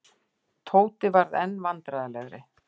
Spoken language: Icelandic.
Tóti varð enn vandræðalegri.